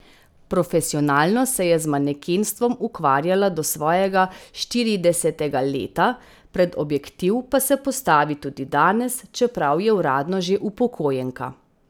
Profesionalno se je z manekenstvom ukvarjala do svojega štiridesetega leta, pred objektiv pa se postavi tudi danes, čeprav je uradno že upokojenka.